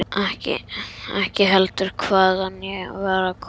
Ekki heldur hvaðan ég var að koma.